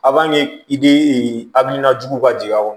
i de hakilina jugu ka jigin a kɔnɔ